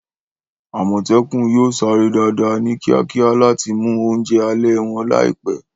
Àmọ̀tẹ́kùn yóò sáré dáadáa, ní kíákíá láti mú oúnjẹ alẹ́ wọn láìpẹ́.